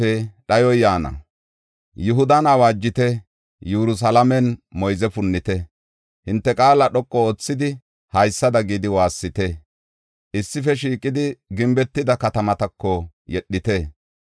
Yihudan awaajite; Yerusalaamen moyze punnite! Hinte qaala dhoqu oothidi haysada gidi waassite! Issife shiiqidi gimbetida katamatako yedhite.